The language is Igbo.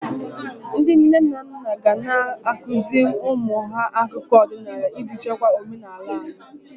Ndị nne na nna ga ana-akụzị ụmụ ha akụkọ ọdịnala iji chekwa omenala anyị.